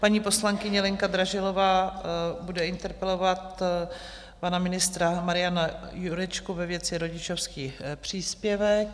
Paní poslankyně Lenka Dražilová bude interpelovat pana ministra Mariana Jurečku ve věci rodičovský příspěvek.